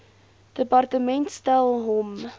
departement stel hom